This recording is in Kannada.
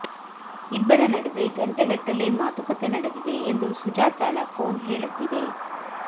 ಇಬ್ಬರ ನಡುವೆ ಗಂಟೆಗಟ್ಟಲೇ ಮಾತುಕತೆ ನಡೆದಿದೆ ಎಂದು ಸುಜಾತಾಳ ಫೋನ್ ಹೇಳುತ್ತಿದೆ